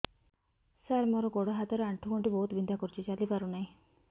ସାର ମୋର ଗୋଡ ହାତ ର ଆଣ୍ଠୁ ଗଣ୍ଠି ବହୁତ ବିନ୍ଧା କରୁଛି ଚାଲି ପାରୁନାହିଁ